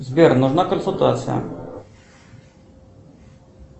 сбер нужна консультация